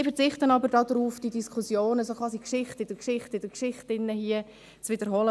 Ich verzichte darauf, die Diskussionen – quasi die Geschichte in der Geschichte in der Geschichte – hier zu wiederholen;